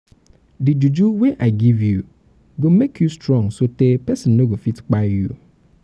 di juju um wey i give you go make you um strong sotee pesin no go um fit kpai you.